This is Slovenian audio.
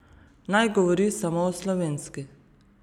Naj govori samo o slovenski.